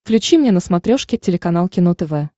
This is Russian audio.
включи мне на смотрешке телеканал кино тв